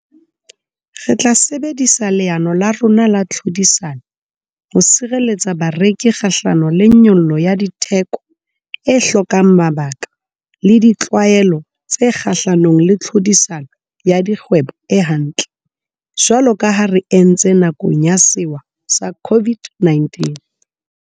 Re tla sebedisa leano la rona la tlhodisano ho sireletsa bareki kgahlano le nyollo ya ditheko e hlokang mabaka le ditlwaelo tse kgahlanong le tlhodisano ya dikgwebo e hantle, jwalo ka ha re entse nakong ya sewa sa COVID-19.